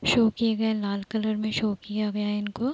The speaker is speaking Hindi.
शो किये गए लाल कलर में शो किया गया इनको।